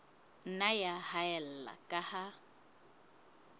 nna ya haella ka ha